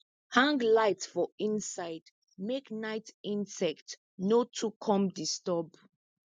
hang light for inside make night insect no too come disturb